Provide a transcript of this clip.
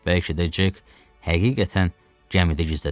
Bəlkə də Cek həqiqətən gəmidə gizlədilmişdi.